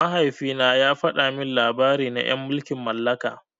Mahaifina ya fada min labari na en mulkin mallaka.